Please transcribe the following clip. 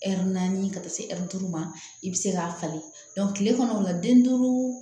Ɛri naani ka taa se ɛri duuru ma i bɛ se k'a falen kile kɔnɔ o la den duuru